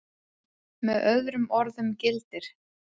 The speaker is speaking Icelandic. Með öðrum orðum gildir